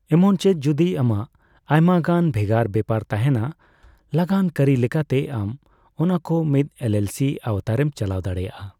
ᱮᱢᱚᱱ ᱪᱮᱫ ᱡᱚᱫᱤ ᱟᱢᱟᱜ ᱟᱭᱢᱟᱜᱟᱱ ᱵᱷᱮᱜᱟᱨ ᱵᱮᱯᱟᱨ ᱛᱟᱦᱮᱸᱱᱟ, ᱞᱟᱜᱟᱱ ᱠᱟᱹᱨᱤ ᱞᱮᱠᱟᱛᱮ ᱟᱢ ᱚᱱᱟᱠᱚ ᱢᱤᱛ ᱮᱞᱹᱮᱞᱹᱥᱤ ᱟᱣᱛᱟᱨᱮᱢ ᱪᱟᱞᱟᱣ ᱫᱟᱲᱮᱭᱟᱜᱼᱟ ᱾